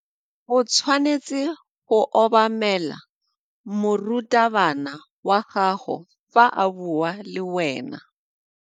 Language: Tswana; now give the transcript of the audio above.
O tshwanetse go obamela morutabana wa gago fa a bua le wena.